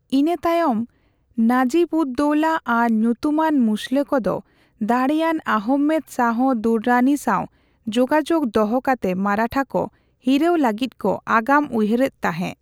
ᱤᱱᱟᱹ ᱛᱟᱭᱚᱢ ᱱᱟᱡᱤᱵᱼᱩᱫᱼᱫᱳᱣᱞᱟ ᱟᱨ ᱧᱩᱛᱩᱢᱟᱱ ᱢᱩᱥᱞᱟᱹ ᱠᱚᱫᱚ ᱫᱟᱲᱮᱭᱟᱱ ᱟᱦᱚᱢᱮᱫ ᱥᱟᱦᱚ ᱫᱩᱨᱨᱟᱱᱤ ᱥᱟᱣ ᱡᱳᱜᱟᱡᱳᱜ ᱫᱚᱦᱚ ᱠᱟᱛᱮ ᱢᱟᱨᱟᱴᱷᱟ ᱠᱚ ᱦᱤᱨᱟᱹᱣ ᱞᱟᱹᱜᱤᱫ ᱠᱚ ᱟᱜᱟᱢ ᱩᱭᱦᱟᱹᱨᱮᱫ ᱛᱟᱸᱦᱮ ᱾